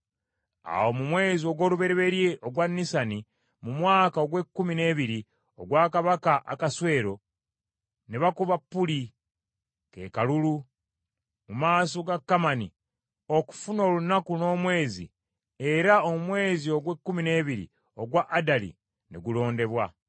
Awo mu mwezi ogw’olubereberye ogwa Nisani, mu mwaka ogw’ekkumi n’ebiri ogwa kabaka Akaswero, ne bakuba Puli, ke kalulu, mu maaso ga Kamani okufuna olunaku n’omwezi, era omwezi ogw’ekkumi n’ebiri ogwa Adali ne gulondebwa.